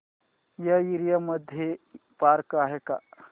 या एरिया मध्ये पार्क आहे का